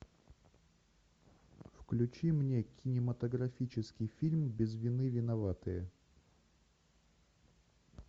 включи мне кинематографический фильм без вины виноватые